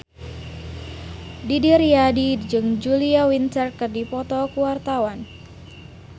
Didi Riyadi jeung Julia Winter keur dipoto ku wartawan